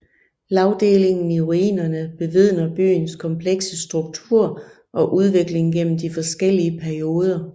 Lagdelingen i ruinerne bevidner byens komplekse struktur og udvikling gennem de forskellige perioder